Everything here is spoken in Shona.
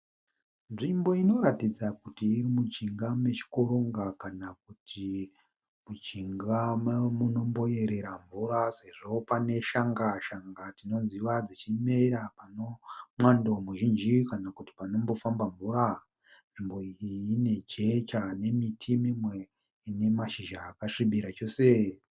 Nzvimbo inoratidza kuti irikujinga mwchikoronga kana kuti mujinga memunomboyerera mvura sezvo mune shanga, shanga tinoziva dzichimera pane mwando muzhinji kana kuti panombofamba mvura. Nzvimbo iyi ine jecha nemiti mimwe ine miti imwe ine mashizha akasvibira chose.